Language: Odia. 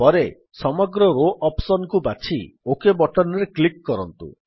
ପରେ ସମଗ୍ର ରୋ ଅପ୍ସନ୍ କୁ ବାଛି ଓକ୍ ବଟନ୍ ରେ କ୍ଲିକ୍ କରନ୍ତୁ